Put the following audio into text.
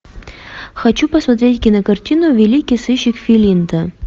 хочу посмотреть кинокартину великий сыщик филинта